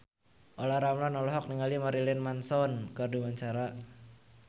Olla Ramlan olohok ningali Marilyn Manson keur diwawancara